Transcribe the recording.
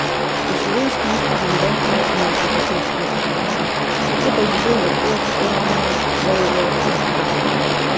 V slovenski Istri noben kmet ni obogatel s kmetovanjem, je pa živel lepo, skromno, dolgo in zdravo.